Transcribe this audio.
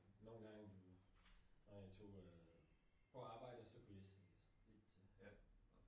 Nogle gange når jeg tog øh på arbejde så kunne jeg lige vinke til den